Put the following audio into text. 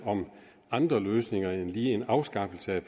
om andre løsninger end lige en afskaffelse af